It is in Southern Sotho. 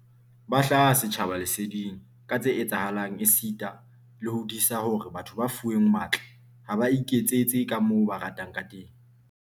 Ba hlaha setjhaba leseding ka tse etsahalang esita le ho disa hore batho ba fuweng matla ha ba iketsetse kamoo ba ratang ka teng.